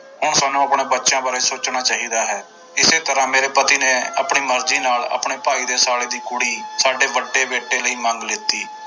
ਹੁਣ ਸਾਨੂੰ ਆਪਣੇ ਬੱਚਿਆਂ ਬਾਰੇ ਸੋਚਣਾ ਚਾਹੀਦਾ ਹੈ, ਇਸੇ ਤਰ੍ਹਾਂ ਮੇਰੇ ਪਤੀ ਨੇ ਆਪਣੀ ਮਰਜ਼ੀ ਨਾਲ ਆਪਣੇ ਭਾਈ ਦੇ ਸਾਲੇ ਦੀ ਕੁੜੀ ਸਾਡੇ ਵੱਡੇ ਬੇਟੇ ਲਈ ਮੰਗ ਲਿੱਤੀ।